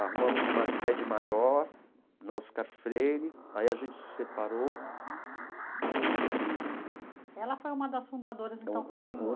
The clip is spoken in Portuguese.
Arrumamos uma sede maior na Oscar Freire, aí a gente se separou e... Ela foi uma das fundadoras, então, com o senhor?